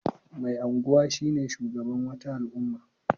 Mai anguwa shine shugaban wata al'umma.